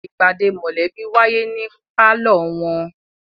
ìpàdé mọ̀lẹ́bí wáyé ní pálọ̀ wọn.